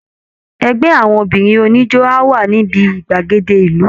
Ẹgbẹ́ àwọn obìnrin oníjó á wà níbi gbàgede ìlú